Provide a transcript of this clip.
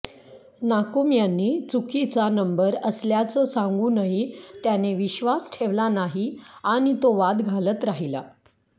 नाकुम यांनी चुकीचा नंबर असल्याचं सांगूनही त्याने विश्वास ठेवला नाही आणि तो वाद घालत राहिला